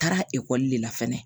Taara ekɔli de la fɛnɛ